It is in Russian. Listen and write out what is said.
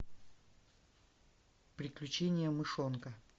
приключения мышонка